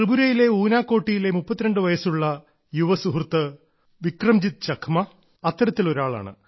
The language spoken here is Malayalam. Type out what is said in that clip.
ത്രിപുരയിലെ ഊനാകോട്ടിയിലെ 32 വയസ്സുകാരൻ യുവ സുഹൃത്ത് വിക്രംജീത്ത് ചക്മാ അത്തരത്തിൽ ഒരാളാണ്